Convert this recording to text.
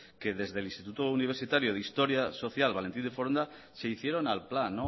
que desde el instituto universitario de historia social valentín de foronda se hicieron al plan